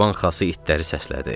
Çoban Xası itləri səslədi.